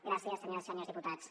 gràcies senyores i senyors diputats